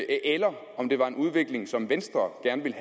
eller om det var en udvikling som venstre gerne ville